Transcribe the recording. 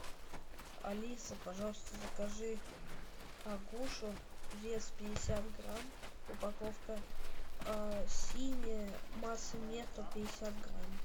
алиса пожалуйста закажи агушу вес пятьдесят грамм упаковка синяя масса нетто пятьдесят грамм